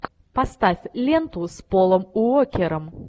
поставь ленту с полом уокером